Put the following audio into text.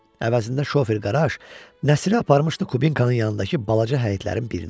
Əvəzində şofer qaraj Nəsiri aparmışdı Kubinkanın yanındakı balaca həyətlərin birinə.